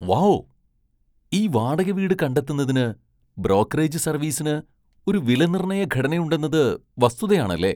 Wow , ഈ വാടക വീട് കണ്ടെത്തുന്നതിന് ബ്രോക്കറേജ് സർവീസിന് ഒരു വിലനിർണ്ണയ ഘടനയുണ്ടെന്നത് വസ്തുതയാണല്ലേ.